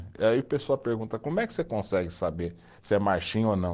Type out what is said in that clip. E aí o pessoal pergunta, como é que você consegue saber se é marchinha ou não?